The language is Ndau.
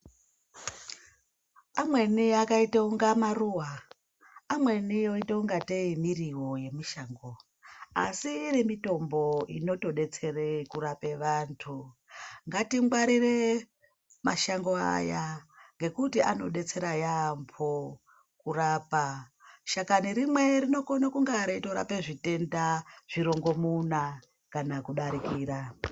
Amweni akaita kunga maruwa. Amweni oita kungatei muriwo yemushango. Asi iri mitombo inotodetsera kurapa vantu. Ngatingwarire mashango aya ngekuti anobatsira yaamho kurapa. Shakani rimwe rinokona kunge reitorapa zvitenda zvirongomuna kana kudarikira.